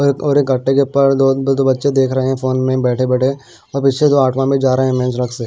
और एक गाट्टे के ऊपर दो दो बच्चे देख रहे हैं फोन में बैठे-बैठे और में जा रहे हैं।